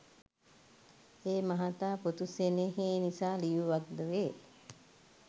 ඒ මහතා පුතු සෙනෙහේ නිසා ලියූවක්ද වේ